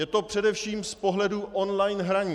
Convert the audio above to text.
Je to především z pohledu online hraní.